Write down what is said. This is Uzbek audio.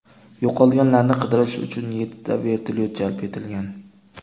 Yo‘qolganlarni qidirish uchun yettita vertolyot jalb etilgan.